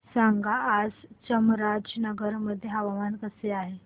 सांगा आज चामराजनगर मध्ये हवामान कसे आहे